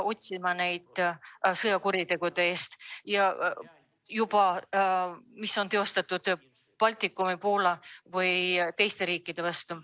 mis on suunatud Baltikumi ja Poola või teiste riikide vastu.